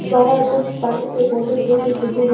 बाहर कुछ पानी के बोटल भी दिख रही है।